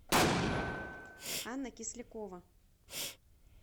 анна кислякова